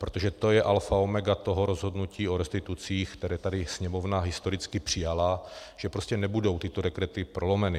Protože to je alfa omega toho rozhodnutí o restitucích, které tady Sněmovna historicky přijala, že prostě nebudou tyto dekrety prolomeny.